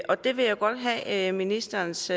og det vil jeg godt have ministerens